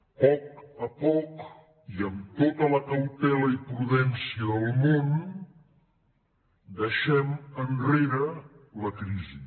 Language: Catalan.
a poc a poc i amb tota la cautela i prudència del món deixem enrere la crisi